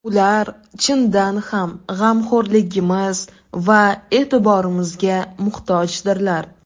Ular chindan ham g‘amxo‘rligimiz va e’tiborimizga muhtojdirlar.